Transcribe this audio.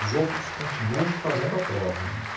Os outros continuem fazendo a prova, né?